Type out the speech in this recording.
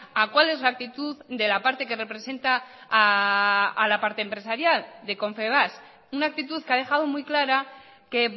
a cuál es la actitud de la parte que representa a la parte empresarial de confebask una actitud que ha dejado muy clara que